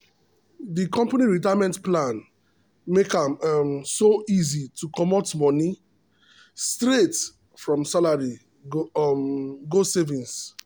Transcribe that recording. the company retirement plan make am um so easy to comot money straight from salary go um savings.